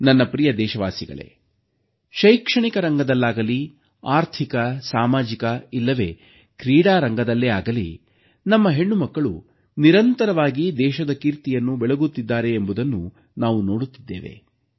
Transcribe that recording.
ನನ್ನ ಪ್ರಿಯ ದೇಶವಾಸಿಗಳೇ ಶೈಕ್ಷಣಿಕ ರಂಗದಲ್ಲಾಗಲೀ ಆರ್ಥಿಕ ಸಾಮಾಜಿಕ ಇಲ್ಲವೇ ಕ್ರೀಡಾ ರಂಗದಲ್ಲೇ ಆಗಲೀ ನಮ್ಮ ಹೆಣ್ಣುಮಕ್ಕಳು ನಿರಂತರವಾಗಿ ದೇಶದ ಕೀರ್ತಿಯನ್ನು ಬೆಳಗುತ್ತಿದ್ದಾರೆಂಬುದನ್ನು ನಾವು ನೋಡುತ್ತಿದ್ದೇವೆ